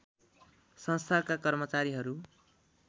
संस्थाका कर्मचारीहरू